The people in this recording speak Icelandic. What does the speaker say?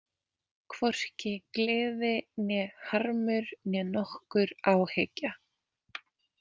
Hvorki gleði né harmur né nokkur áhyggja.